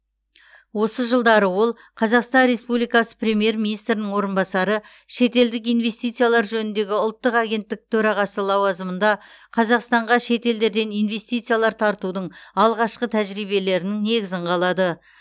осы жылдары ол қазақстан республикасы премьер министрінің орынбасары шетелдік инвестициялар жөніндегі ұлттық агенттік төрағасы лауазымында қазақстанға шетелдерден инвестициялар тартудың алғашқы тәжірибелерінің негізін қалады